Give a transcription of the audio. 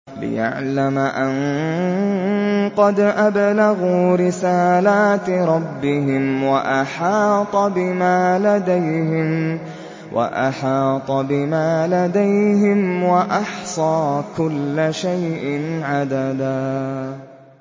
لِّيَعْلَمَ أَن قَدْ أَبْلَغُوا رِسَالَاتِ رَبِّهِمْ وَأَحَاطَ بِمَا لَدَيْهِمْ وَأَحْصَىٰ كُلَّ شَيْءٍ عَدَدًا